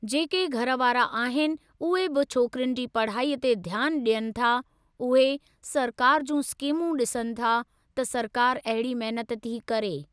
जेके घर वारा आहिनि उहे बि छोकिरियुनि जी पढ़ाईअ ते ध्यानु ॾियनि था, उहे सरकार जूं स्किमूं ॾिसनि था त सरकार अहिड़ी महिनत थी करे।